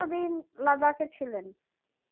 কত দিন লাদাখে ছিলেন